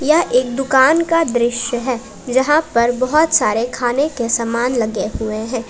यह एक दुकान का दृश्य है जहां पर बहुत सारे खाने के समान लगे हुए हैं।